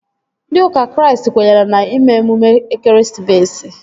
Ndị ụka Kraịst kwenyere na ime emume ekeresimesi